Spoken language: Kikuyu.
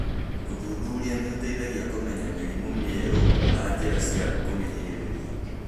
Ũthuthuria nĩ ũteithagia kũmenya mĩrimũ mĩerũ na njĩra cia kũmĩgirĩrĩria.